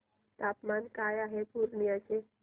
तापमान काय आहे पूर्णिया चे